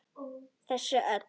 Þessu öllu.